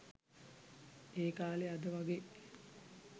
ඒකාලේ අද වාගේ